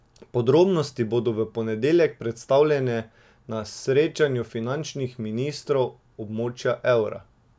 Podrobnosti bodo v ponedeljek predstavljene na srečanju finančnih ministrov območja evra.